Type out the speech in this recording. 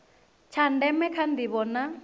tsha ndeme kha ndivho na